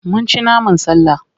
Mun ci naman sallah.